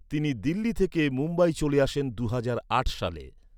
তিনি দিল্লি থেকে মুম্বই চলে আসেন দুহাজার আট সালে।